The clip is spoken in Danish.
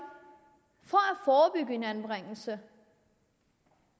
for at forebygge en anbringelse